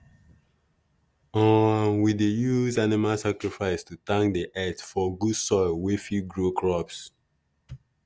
um we dey use animal sacrifice to thank the earth for good soil wey fit grow crops.